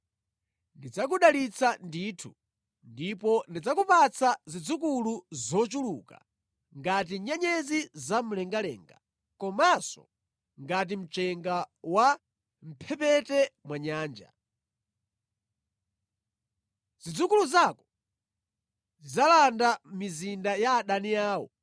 ndidzakudalitsa ndithu ndipo ndidzakupatsa zidzukulu zochuluka ngati nyenyezi zamlengalenga komanso ngati mchenga wa mʼmphepete mwa nyanja. Zidzukulu zako zidzalanda mizinda ya adani awo,